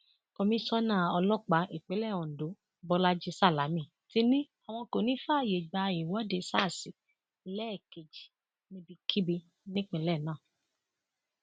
komisanna ọlọpàá ìpínlẹ ondo bolaji salami ti ní àwọn kò ní í fààyè gba ìwọde sars ẹlẹẹkejì níbikíbi nípínlẹ náà